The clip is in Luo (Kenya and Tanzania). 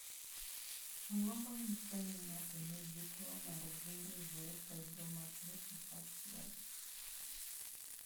Ang�o ma nyiso ni ng�ato nigi tuo mar Gingival fibromatosis, achiel?